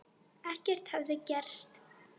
Ekkert hefði gerst.